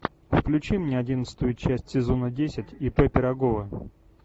включи мне одиннадцатую часть сезона десять ип пирогова